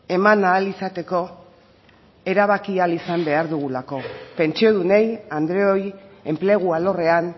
eman ahal izateko erabaki ahal izan behar dugulako pentsiodunei andreoi enplegu alorrean